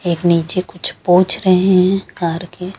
एक नीचे कुछ पोछ रहे है कार के --